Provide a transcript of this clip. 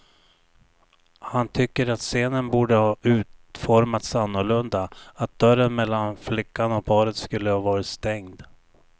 Han tycker att scenen borde ha utformats annorlunda, att dörren mellan flickan och paret skulle ha varit stängd.